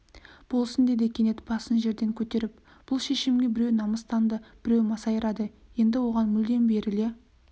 болсын деді кенет басын жерден көтеріп бұл шешімге біреу намыстанды біреу масайрады енді оған мүлдем беріле